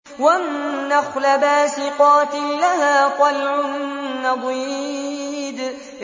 وَالنَّخْلَ بَاسِقَاتٍ لَّهَا طَلْعٌ نَّضِيدٌ